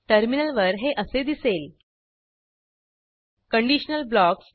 टर्मिनलवर हे असे दिसेल